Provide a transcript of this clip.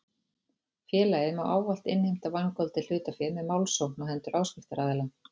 Félagið má ávallt innheimta vangoldið hlutafé með málsókn á hendur áskriftaraðila.